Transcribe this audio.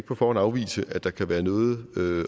på forhånd afvise at der kan være noget